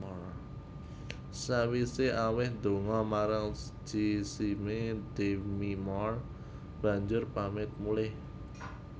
Sakwise aweh donga marang jisime Demi Moore banjur pamit muleh